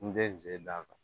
N tɛ ze d'a kan